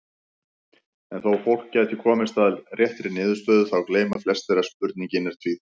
En þó fólk gæti komist að réttri niðurstöðu þá gleyma flestir að spurningin er tvíþætt.